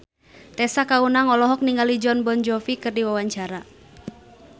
Tessa Kaunang olohok ningali Jon Bon Jovi keur diwawancara